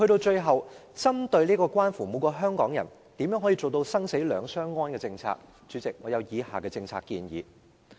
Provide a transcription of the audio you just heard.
最後，針對這項關乎每個香港人如何能做到生死兩相安的政策，主席，我有以下的政策建議。